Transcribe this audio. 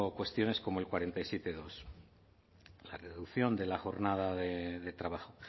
cuestiones como el cuarenta y siete dos la reducción de la jornada de trabajo